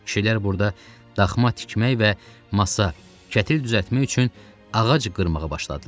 Kişilər burada daxma tikmək və masa, kətil düzəltmək üçün ağac qırmağa başladılar.